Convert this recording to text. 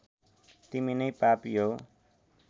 तिमी नै पापी हौ